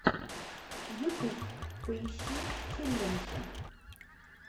ютуб поищи челленджи